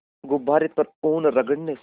गुब्बारे पर ऊन रगड़ने से